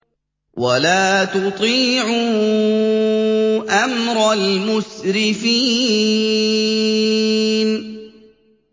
وَلَا تُطِيعُوا أَمْرَ الْمُسْرِفِينَ